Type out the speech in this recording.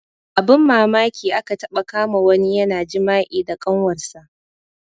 Abun mamaki aka taɓa kama wani yana jima'i da kanwar sa